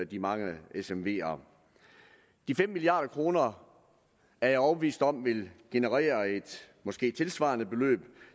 de mange smv’er de fem milliard kroner er jeg overbevist om vil generere et måske tilsvarende beløb